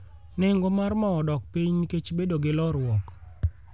Nengo mar mo odok piny nikech bedo gi lorruok